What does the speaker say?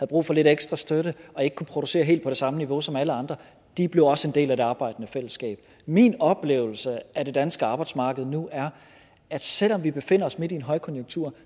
brug for lidt ekstra støtte og ikke kunne producere helt på samme niveau som alle andre blev også en del af det arbejdende fællesskab min oplevelse af det danske arbejdsmarked nu er at selv om vi befinder os midt i en højkonjunktur